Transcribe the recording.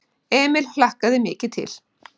Emil hlakkaði mikið til.